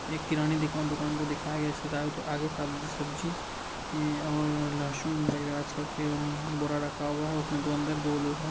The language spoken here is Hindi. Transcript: इक किराना दिकान- दुकान को दिखाया गया है इसके चारों तरफ आगे सब सब्जी ई और लसन पूरा रखा हुआ है उसमे दो अंदर दो लोग हैं।